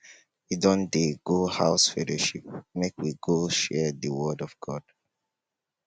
we don dey go house fellowship make we go share di word of god